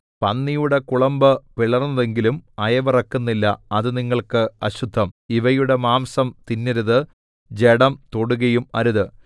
പന്നിയുടെ കുളമ്പ് പിളർന്നതെങ്കിലും അയവിറക്കുന്നില്ല അത് നിങ്ങൾക്ക് അശുദ്ധം ഇവയുടെ മാംസം തിന്നരുത് ജഡം തൊടുകയും അരുത്